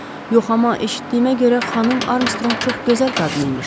Yox, amma eşitdiyimə görə xanım Armstrong çox gözəl qadın idi.